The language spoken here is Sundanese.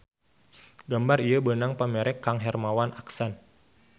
Gambar ieu beunang pamere kang Hermawan Aksan.